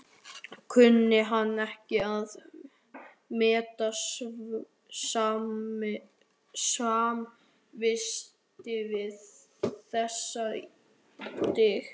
Kunni hann ekki að meta samvistir við þessi dýr.